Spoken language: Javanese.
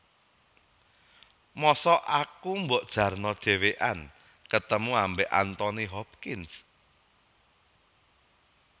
Mosok aku mbok jarno dewean ketemu ambek Anthony Hopkins?